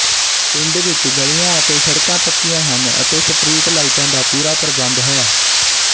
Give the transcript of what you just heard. ਪਿੰਡ ਵਿੱਚ ਗਲੀਆਂ ਅਤੇ ਸੜਕਾਂ ਪੱਕੀਆਂ ਹਨ ਤੇ ਸਟਰੀਟ ਲਾਈਟਾਂ ਦਾ ਪੂਰਾ ਪ੍ਰਬੰਧ ਹੈ